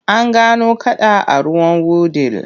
An gano kada a ruwan Wudil.